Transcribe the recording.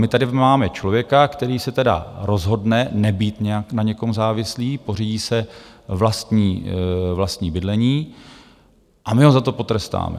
My tady máme člověka, který si tedy rozhodne nebýt nějak na někom závislý, pořídí si vlastní bydlení, a my ho za to potrestáme.